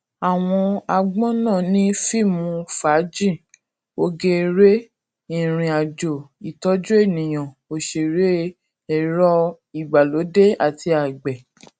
àwọn agbon náà ni fíìmù fàájì oge eré ìrìn àjò ìtọjú ènìyàn òsèré ẹrọ ìgbàlódé àti àgbẹ